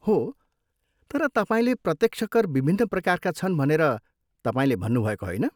हो, तर तपाईँले प्रत्यक्ष कर विभिन्न प्रकारका छन् भनेर तपाईँले भन्नुभएको होइन?